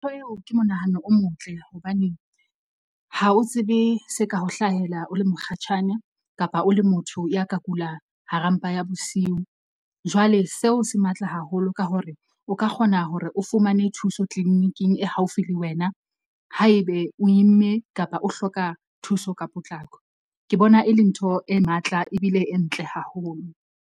Ntho eo ke monahano o motle hobaneng ha o tsebe se ka ho hlahela o le mokgatjhane kapa o le motho ya ka kula hara mpa ya bosiu. Jwale seo se matla haholo ka hore o ka kgona hore o fumane thuso clinic-ing e haufi le wena. Haebe o imme kapa o hloka thuso ka potlako. Ke bona e le ntho e matla ebile e ntle haholo.